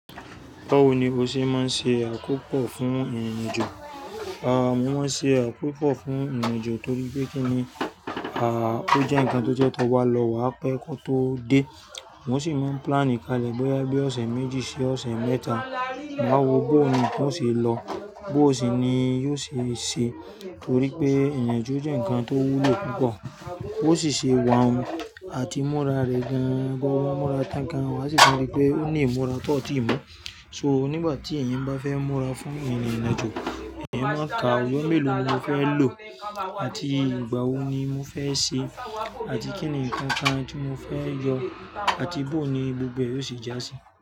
Báwo ni o ṣe máa ń ṣe àkópọ̀ fún ìrìnàjò? Aà, mo máa ń ṣe àkópọ̀ fún ìrìnàjò torí pé kí ni, aà, ó jẹ́ ǹkan tó jẹ́ tó bá lọ wà á pẹ́ kọ̀ tó o dé. Mo sì máa ń pílánì kalẹ̀ bóyá bí ọ̀sẹ̀ méjì sí ọ̀sẹ̀ mẹ́ta. Màá wo bó un nkan ó ṣe lọ, bó ó sì ni yóò ṣe ṣẹ torí pé ìrìnàjò jẹ́ ǹkan tó wúlo púpọ̀. Ó sì ṣe wà ùn àti múra rẹ̀ gan-an, gbogbo múra tán kan wà á sì rí pé ó ní ìmúra tọọ̀tí mú. So nígbà tí ẹ̀yin bá fẹ́ múra fún ìrìn ìrìnàjò, èèyàn máa ka ọjọ́ mélòó ni mo fẹ́ lò àti ìgbà wo ni mo fẹ́ ṣe àti kí ni ǹkan kan tí mo fẹ́ yọ àti bó ni gbogbo yóò ṣe já sí.